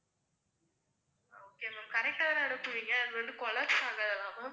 okay ma'am correct ஆஹ் தான அனுப்புவீங்க, அதுவந்து collapse ஆகாதுல ma'am